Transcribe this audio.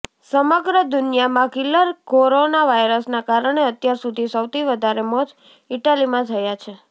સમગ્ર દુનિયામાં killer corona વાયરસના કારણે અત્યાર સુધી સૌથી વધારે મોત ઈટાલીમાં થયા છે